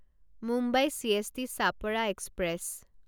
Mumbai CST Chhapra express